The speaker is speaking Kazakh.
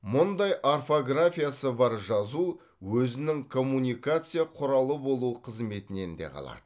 мұндай орфографиясы бар жазу өзінің коммуникация құралы болу қызметінен де қалады